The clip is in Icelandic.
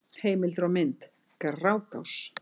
Heimildir og mynd: Grágás.